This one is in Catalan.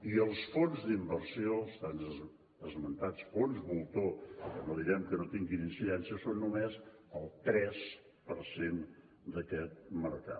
i els fons d’inversió els tan esmentats fons voltor que no direm que no tinguin incidència són només el tres per cent d’aquest mercat